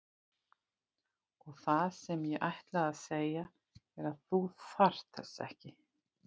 Og það sem ég ætlaði að segja er að þú þarft þess ekki.